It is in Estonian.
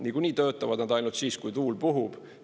Nagunii töötavad nad ainult siis, kui tuul puhub.